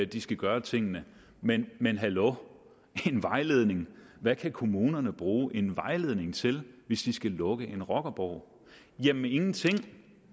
de skal gøre tingene men men hallo en vejledning hvad kan kommunerne bruge en vejledning til hvis de skal lukke en rockerborg jamen ingenting